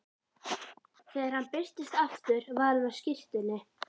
Þegar hann birtist aftur var hann á skyrtunni.